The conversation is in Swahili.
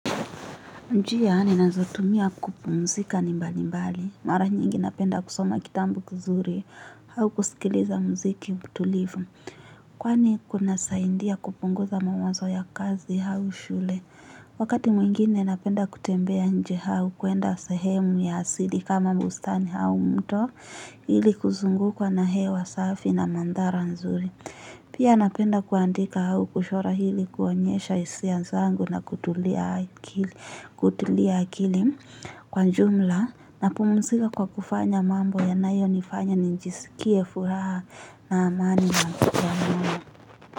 Njia ninazotumia kupumzika ni mbali mbali. Mara nyingi napenda kusoma kitambu kizuri. Hau kusikiliza mziki mtulivu. Kwani kuna saindia kupunguza mawazo ya kazi hau shule. Wakati mwingine napenda kutembea nje hau kuenda sehemu ya asili kama bustani hau mto. Hili kuzungu kwa na hewa safi na mandhara nzuri. Pia napenda kuandika hau kushora hili kuonyesha isia zangu na kutulia hakili. Kutuli akili kwa jumla napumsika kwa kufanya mambo yanayo nifanya nijisikie furaha na amani na kutulia mambo.